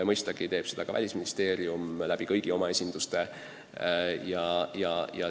Mõistagi teeb seda ka Välisministeerium kõigi oma esinduste kaudu.